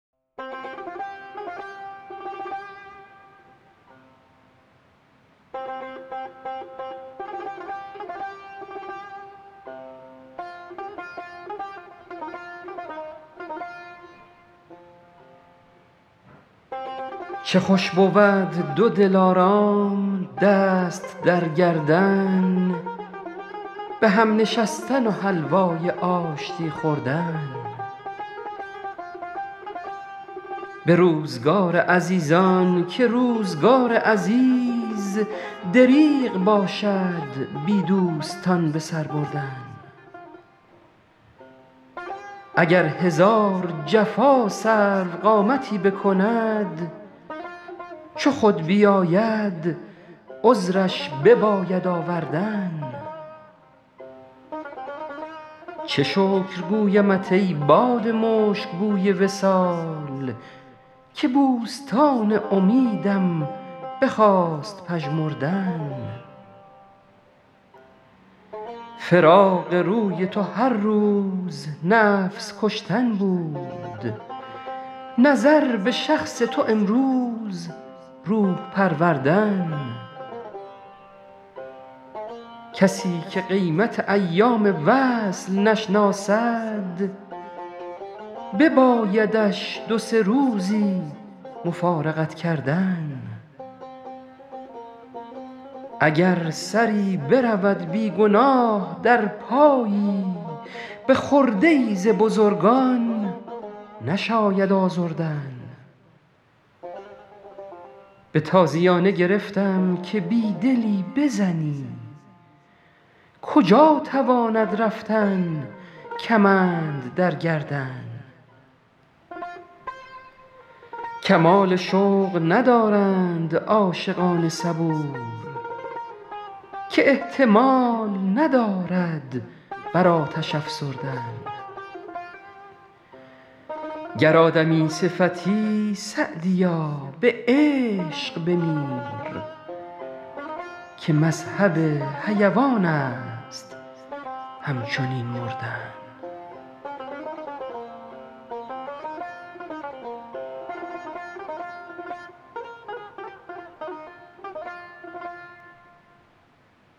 چه خوش بود دو دلارام دست در گردن به هم نشستن و حلوای آشتی خوردن به روزگار عزیزان که روزگار عزیز دریغ باشد بی دوستان به سر بردن اگر هزار جفا سروقامتی بکند چو خود بیاید عذرش بباید آوردن چه شکر گویمت ای باد مشک بوی وصال که بوستان امیدم بخواست پژمردن فراق روی تو هر روز نفس کشتن بود نظر به شخص تو امروز روح پروردن کسی که قیمت ایام وصل نشناسد ببایدش دو سه روزی مفارقت کردن اگر سری برود بی گناه در پایی به خرده ای ز بزرگان نشاید آزردن به تازیانه گرفتم که بی دلی بزنی کجا تواند رفتن کمند در گردن کمال شوق ندارند عاشقان صبور که احتمال ندارد بر آتش افسردن گر آدمی صفتی سعدیا به عشق بمیر که مذهب حیوان است همچنین مردن